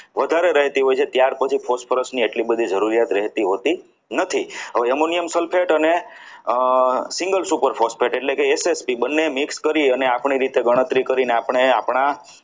વધારે રહેતી હોય છે ત્યાર પછી phosphorus ની એટલી બધી જરૂરિયાત રહેતી હોતી નથી હવે Ammonium Sulphate અને single super phosphate એટલે કે SSB બંને mix કરીને આપણી રીતે ગણતરી કરીને અને આપણે આપણા